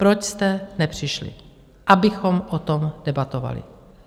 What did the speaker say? Proč jste nepřišli, abychom o tom debatovali?